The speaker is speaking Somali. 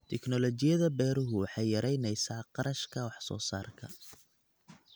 Tignoolajiyada beeruhu waxay yaraynaysaa kharashka wax soo saarka.